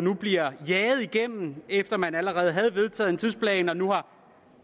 nu bliver jaget igennem efter at man allerede havde vedtaget en tidsplan og nu har